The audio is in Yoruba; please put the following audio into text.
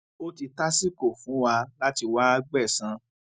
ó ti tásìkò fún wa láti wáá gbẹsan